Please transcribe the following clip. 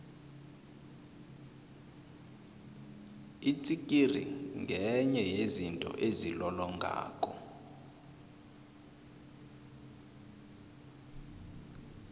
itsikiri ngenye yezinto ezilolongako